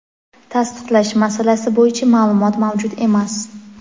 Tasdiqlash masalasi bo‘yicha ma’lumot mavjud emas.